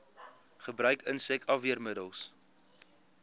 gebruik insek afweermiddels